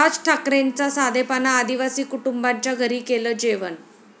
राज ठाकरेंचा साधेपणा, आदिवासी कुटुंबाच्या घरी केलं जेवण!